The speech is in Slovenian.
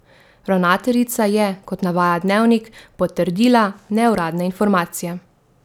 Ravnateljica je, kot navaja Dnevnik, potrdila neuradne informacije.